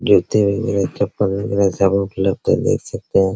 गिनती में मेरा चप्पल लग रहा है सब उपलब्ध है देख सकते हैं।